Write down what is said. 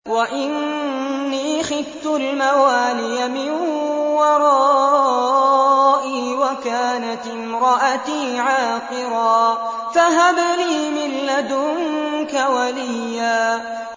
وَإِنِّي خِفْتُ الْمَوَالِيَ مِن وَرَائِي وَكَانَتِ امْرَأَتِي عَاقِرًا فَهَبْ لِي مِن لَّدُنكَ وَلِيًّا